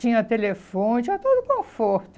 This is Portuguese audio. Tinha telefone, tinha todo